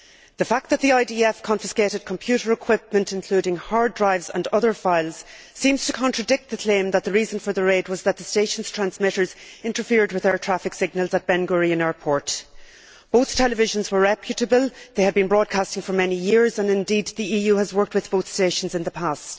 The fact that the IDF confiscated computer equipment, including hard drives and other files, seems to contradict the claim that the reason for the raid was that the station's transmitters interfered with air traffic signals at Ben Gurion airport. Both televisions were reputable, they had been broadcasting for many years and indeed the EU has worked with both stations in the past.